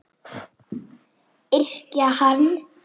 Yrkja hann!